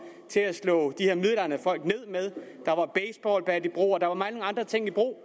til at slå de her midaldrende folk ned med der var baseballbat i brug og der var mange andre ting i brug